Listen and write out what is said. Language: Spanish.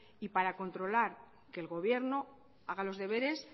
y para controlar que el gobierno haga los deberes